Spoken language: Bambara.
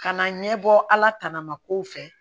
Ka na ɲɛbɔ ala tana ma kow fɛ